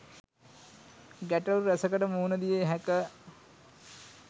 ගැටලූ රැසකට මුහුණදිය හැක.